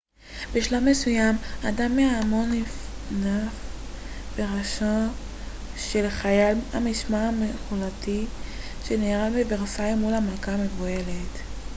בשלב מסוים אדם מההמון נפנף בראשו של חייל המשמר מלכותי שנהרג בוורסאי מול המלכה המבוהלת